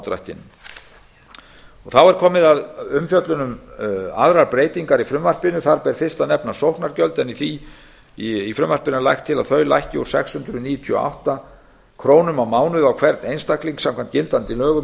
persónufrádrættinum þá er komið að umfjöllun um aðrar breytingar í frumvarpinu þar ber fyrst að nefna sóknargjöld en í frumvarpinu er lagt til að þau lækki úr sex hundruð níutíu og átta ár á mánuði á hvern einstakling samkvæmt gildandi lögum í sex